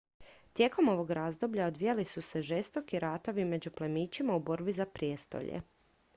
tijekom ovog razdoblja odvijali su se žestoki ratovi među plemićima u borbi za prijestolje